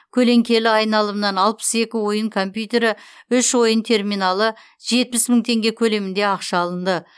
көлеңкелі айналымнан алпыс екі ойын компьютері үш ойын терминалы жетпіс мың теңге көлемінде ақша алынды